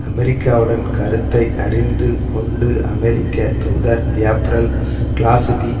அமெரிக்காவுடன் கருத்தை அறிந்து கொண்டு அமெரிக்க தூதர் ஏப்ரல் கிளாஸ்பி